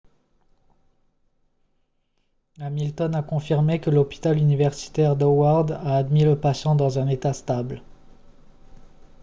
hamilton a confirmé que l'hôpital universitaire d'howard a admis le patient dans un état stable